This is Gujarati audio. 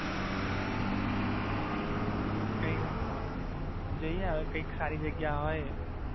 જઈએ હવે કઈક સારી જગ્યા હોય.